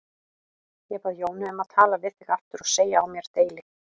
Ég bað Jónu um að tala við þig aftur og segja á mér deili.